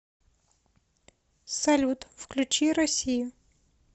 салют включи россию